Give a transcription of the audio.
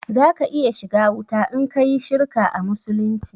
Za ka iya shiga wuta in kayi shirka a musulunci